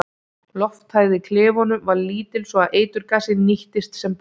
Lofthæð í klefunum var lítil svo að eiturgasið nýttist sem best.